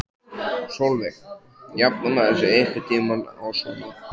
Sólveig: Jafnar maður sig einhvern tímann á svona?